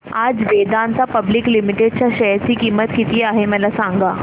आज Vedanta public limited च्या share ची किंमत किती आहे मला सांगा